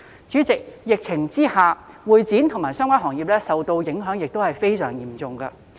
主席，在疫情下，會展及相關行業受到的影響亦非常嚴重。